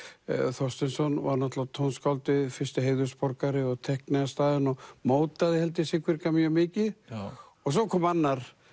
Þorsteinsson var náttúrulega tónskáldið fyrsti heiðursborgari og teiknaði staðinn og mótaði held ég Siglfirðinga mjög mikið svo kom annar